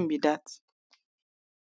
for understand